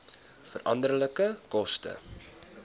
veranderlike koste